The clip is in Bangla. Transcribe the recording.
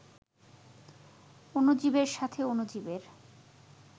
অণুজীবের সাথে অণুজীবের